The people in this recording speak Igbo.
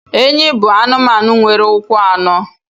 Enyí bụ anụmanụ nwere ụkwụ anọ